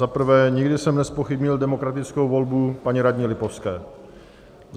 Za prvé, nikdy jsem nezpochybnil demokratickou volbu paní radní Lipovské.